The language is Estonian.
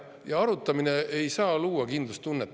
Jaa, arutamine ei saa luua kindlustunnet.